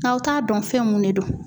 Aw t'a dɔn fɛn mun de don.